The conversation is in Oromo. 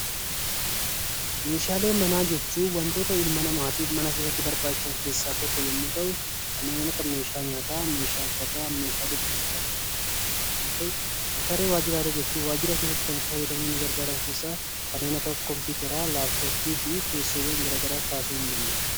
Meeshaalee manaa jechuun wantoota ilma namaatiif mana keessatti barbaachisan keessaa tokko yommuu ta'u, kanneen akka meeshaa nyaataa, meeshaa uffataa, meeshaalee ciisichaa fi waan kana fakkaatan yoo ta'u, meeshaalee waajjiraalee jechuun waajjira keessatti kan itti fayyadamuuf nu gargaaran keessaa kanneen akka kompiitaraa, laapitooppii fi teessoowwan gara garaa kaasuun ni danda'ama.